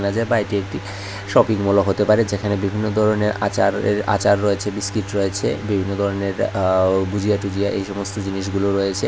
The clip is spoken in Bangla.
বাজার বা এটা একটি শপিং মলও হতে পারে যেখানে বিভিন্ন ধরনের আচারের আচার রয়েছে বিস্কিট রয়েছে বিভিন্ন ধরনের আ গুজিয়া টুজিয়া এই সমস্ত জিনিসগুলো রয়েছে।